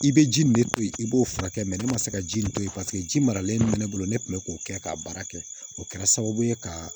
I bɛ ji nin ne to yen i b'o furakɛ ne ma se ka ji nin to yen paseke ji maralen min bɛ ne bolo ne tun bɛ k'o kɛ k'a baara kɛ o kɛra sababu ye ka